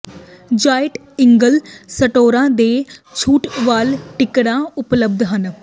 giant eagle ਸਟੋਰਾਂ ਤੇ ਛੂਟ ਵਾਲਾ ਟਿਕਟਾਂ ਉਪਲਬਧ ਹਨ